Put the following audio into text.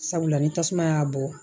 Sabula ni tasuma y'a bɔ